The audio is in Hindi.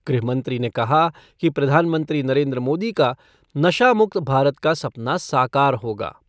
गृह मंत्री ने कहा कि प्रधानमंत्री नरेन्द्र मोदी का नशा मुक्त भारत का सपना साकार होगा।